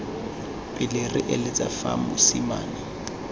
pele re eletsa fa mosimane